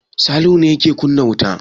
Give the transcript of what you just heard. Salihu yake kunna wuta?